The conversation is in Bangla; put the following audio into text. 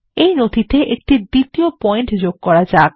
এই নথিতে একটি দ্বিতীয় পয়েন্ট যোগ করা যাক